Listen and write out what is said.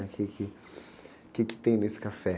O quê que, o quê que tem nesse café?